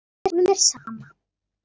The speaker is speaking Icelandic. Honum er sama.